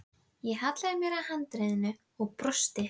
Ég hallaði mér að handriðinu og brosti.